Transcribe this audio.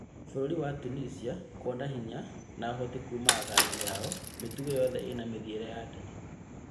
Bũrũri wa Tunisia kwona hinya, na ũhoti kuuma athaki ao, mĩtugo yothe ĩna mĩthiĩre ya nderi